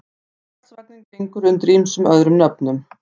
Karlsvagninn gengur undir ýmsum öðrum nöfnum.